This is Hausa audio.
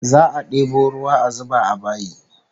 Za'a debo ruwa a zuba a bayi